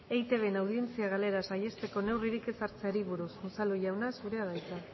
eitbn audientzia galera saihesteko neurririk ez hartzeari buruz unzalu jauna zurea da hitza